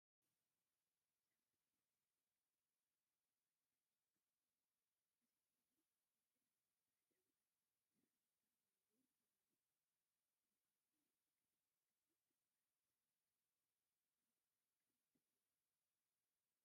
ሰባት ተሰሊፎም ጦር መሳርያ ናብ ሓደ ይእክቡ ኣለዉ፡፡ እዚ ከይዲ ዕጥቂ ናይ ምፍታሕ ተግባር ዝፍፀመሉ ዘሎ ምዃኑ የመልክት፡፡ እዚ ተግባር ንሰላም ዘለዎ ኣበርክቶ ከመይ ትሪእዎ?